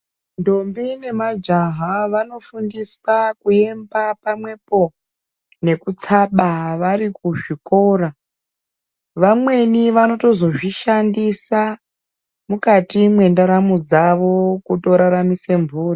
Ndombi nemajaha vanofundiswa kuemba pamwepo nekutsaba vari kuzvikora vamweni vanotozozvishandisa mukati mwendaramo dzavo kutoraramisa mburi.